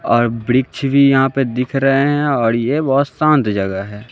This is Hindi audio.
और वृक्ष भी यहां पे दिख रहे हैं और ये बहोत शांत जगह है।